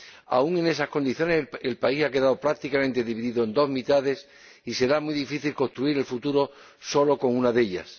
Aun en esas condiciones el país ha quedado prácticamente dividido en dos mitades y será muy difícil construir el futuro sólo con una de ellas.